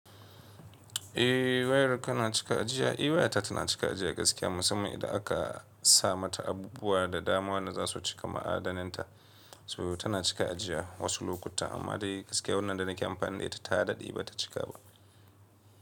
Eh wayar ka na cika jiya? Eh waya ta tana cika jiya gaskiya musamman yadda aka sa mata abubuwa da dama wanda za su cika ma'adanin ta. To tana cika ajiya wasu lokuta amma dai gaskiya wannan da nake amfani da ita ta daɗe ba ta cika ba.